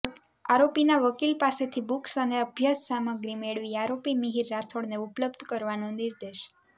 આરોપીના વકીલ પાસેથી બુક્સ અને અભ્યાસ સામગ્રી મેળવી આરોપી મિહિર રાઠોડને ઉપલબ્ધ કરાવાનો નિર્દેશ